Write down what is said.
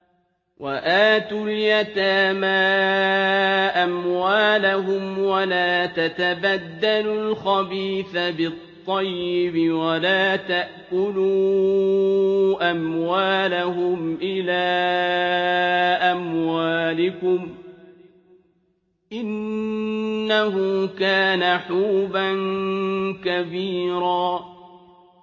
وَآتُوا الْيَتَامَىٰ أَمْوَالَهُمْ ۖ وَلَا تَتَبَدَّلُوا الْخَبِيثَ بِالطَّيِّبِ ۖ وَلَا تَأْكُلُوا أَمْوَالَهُمْ إِلَىٰ أَمْوَالِكُمْ ۚ إِنَّهُ كَانَ حُوبًا كَبِيرًا